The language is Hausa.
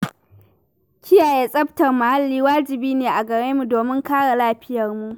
Kiyaye tsaftar muhalli wajibi ne a garemu domin kare lafiyarmu.